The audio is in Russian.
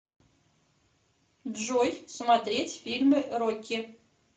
джой смотреть фильмы рокки